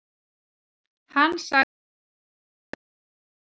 Hann sagði svo vera.